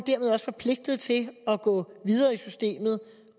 også forpligtet til at gå videre i systemet